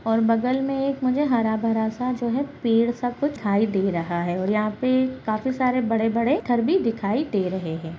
और बगल में एक मुझे हरा-भरा सा जो है पेड़ सा कुछ दिखाई दे रहा है और यहाँ पे काफी सारे बड़े-बड़े पत्थर भी दिखाई दे रहें हैं।